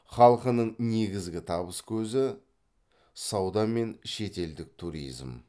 халқының негізгі табыс көзі сауда мен шетелдік туризм